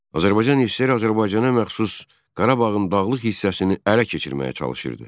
Azərbaycan SSR Azərbaycanın məxsus Qarabağın dağlıq hissəsini ələ keçirməyə çalışırdı.